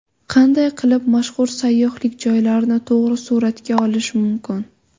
Qanday qilib mashhur sayyohlik joylarini to‘g‘ri suratga olish mumkin?.